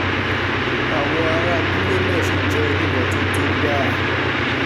àwọn ará abúlé náà sì jẹ́ onímọ̀ọ́tótó gbáà